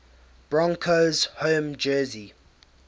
broncos home jersey